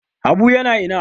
Habu yana ina?